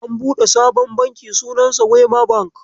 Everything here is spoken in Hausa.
An buɗe sabon Banki sunansa wema Bank.